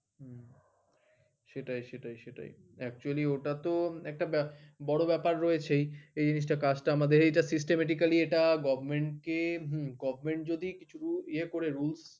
সেটাই সেটাই সেটাই actually ওটা তো একটা বড় ব্যাপার রয়েছেই এই জিনিস টা কাজ টা আমাদের এই টা systematically এটা govt. কে govt. যদি কিছু ইয়ে করে rules